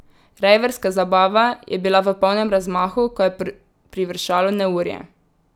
Rejverska zabava je bila v polnem razmahu, ko je privršalo neurje.